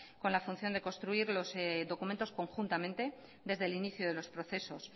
con la función de construir los documentos conjuntamente desde el inicio de los procesos